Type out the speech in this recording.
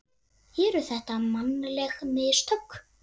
Eru þetta mannleg mistök?